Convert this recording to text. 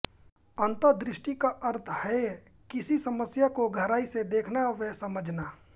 अंतःदृष्टि का अर्थ है किसी समस्या को गहराई से देखना व समझना